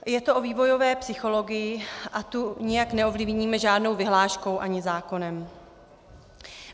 Je to o vývojové psychologii a tu nijak neovlivníme žádnou vyhláškou ani zákonem.